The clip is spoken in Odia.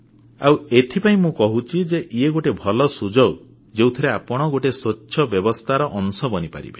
ଆଉ ଏଇଥିପାଇଁ ମୁଁ କହୁଛି ଯେ ଇଏ ଗୋଟିଏ ଭଲ ସୁଯୋଗ ଯେଉଁଥିରେ ଆପଣ ଗୋଟିଏ ସ୍ୱଚ୍ଛ ବ୍ୟବସ୍ଥାର ଅଂଶ ବନିପାରିବେ